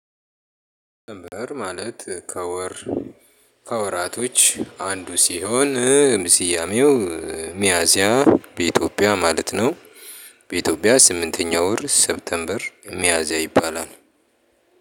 ማለት ከወር ከወራቶች አንዱ ሲሆን ስያሜው ሚያዚያ በኢትዮጵያ ማለት ነው። በኢትዮጵያ ስምንተኛ ወር ሴፕቴምበር ሚያዚያ ይባላል